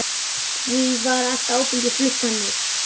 Því var allt áfengi flutt þannig.